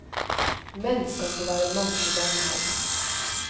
Menn skal få være mann i barnehage.